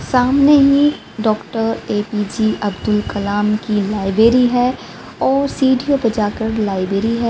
सामने ही doctor A P J Abdul Kalam की लाइब्रेरी है और सीढ़ीओ पे जाकर लाइब्रेरी है।